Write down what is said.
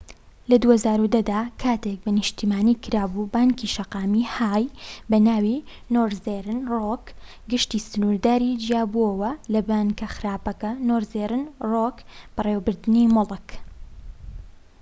لە ٢٠١٠ دا لەکاتێکدا بە نیشتیمانی کرابوو، بانکی شەقامی های بەناوی نۆرزێرن رۆک/گشتی سنوردار جیابۆوە لە 'بانکە خراپەکە' نۆرزێرن رۆک بەڕێوەبردنی موڵك